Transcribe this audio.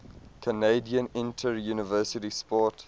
canadian interuniversity sport